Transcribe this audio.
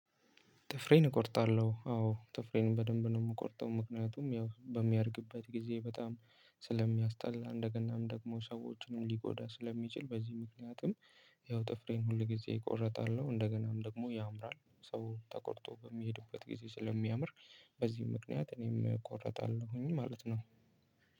ጥፍሬን እቆርጣለሁ አዎ ጥፍሬን በደንብ ነው የምቆርጠው ምክንያቱም ያው በሚያደርግበት ጊዜ በጣም ስለሚያስጠላ እንደገናም ደግሞ ሰዎችንም ሊቆዳ ስለሚችል በዚህ ምክንያትም። ያው ጥፍሬን ሁል ጊዜ እቆረጣለሁ እንደገናም ደግሞ ያምራል ሰው ተቆርጦ በሚሄድበት ጊዜ ስለሚያምር። በዚህ ምክንያት እኔም እቆርጣለሁኝ ማለት ነው።